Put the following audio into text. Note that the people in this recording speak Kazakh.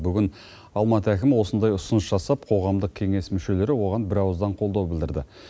бүгін алматы әкімі осындай ұсыныс жасап қоғамдық кеңес мүшелері оған бірауыздан қолдау білдірді